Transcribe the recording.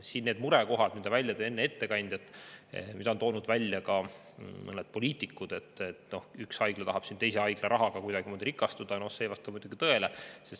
See murekoht, mida tõi enne välja ettekandja ja mida on toonud välja ka mõned poliitikud, et üks haigla tahab teise haigla rahaga kuidagimoodi rikastuda – no see ei vasta muidugi tõele.